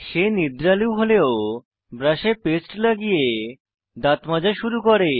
সে নিদ্রালু হলেও ব্রাশে পেস্ট লাগিয়ে দাঁত মাজা শুরু করে